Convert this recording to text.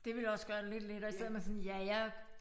Det ville også gøre det lidt lettere i stedet man sådan ja jeg